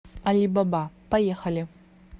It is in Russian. алибаба поехали